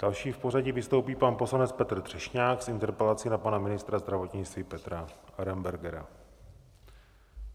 Další v pořadí vystoupí pan poslanec Petr Třešňák s interpelací na pana ministra zdravotnictví Petra Arenbergera.